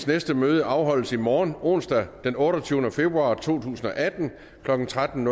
næste møde afholdes i morgen onsdag den otteogtyvende februar to tusind og atten klokken tretten